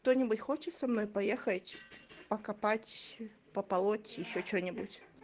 кто-нибудь хочет со мной поехать покопать пополоть ещё что-нибудь